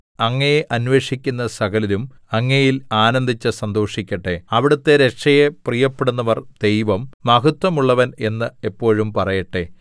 അങ്ങയെ അന്വേഷിക്കുന്ന സകലരും അങ്ങയിൽ ആനന്ദിച്ചു സന്തോഷിക്കട്ടെ അവിടുത്തെ രക്ഷയെ പ്രിയപ്പെടുന്നവർ ദൈവം മഹത്വമുള്ളവൻ എന്ന് എപ്പോഴും പറയട്ടെ